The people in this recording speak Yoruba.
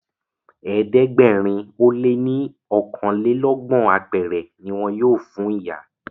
ẹ̀ẹ́dẹ̀gbẹ̀rin o lẹ ní okanlelogbon apẹrẹ ní wón yóò fún ìyá.